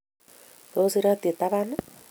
Tos, iratyi taban?